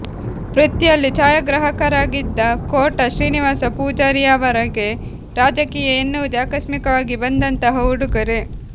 ವೃತ್ತಿಯಲ್ಲಿ ಛಾಯಾಗ್ರಾಹಕರಾಗಿದ್ದ ಕೋಟ ಶ್ರೀನಿವಾಸ ಪೂಜಾರಿಯವರಿಗೆ ರಾಜಕೀಯ ಎನ್ನುವುದೇ ಆಕಸ್ಮಿಕವಾಗಿ ಬಂದಂತಹ ಉಡುಗೊರೆ